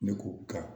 Ne k'o kan